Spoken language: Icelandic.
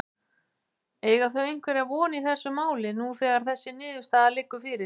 Eiga þau einhverja von í þessu máli nú þegar þessi niðurstaða liggur fyrir?